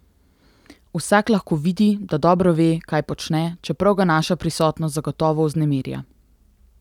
Vsak lahko vidi, da dobro ve, kaj počne, čeprav ga naša prisotnost zagotovo vznemirja.